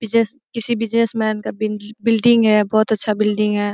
Business किसी businessman का building है बहुत अच्छा बिल्डिंग है।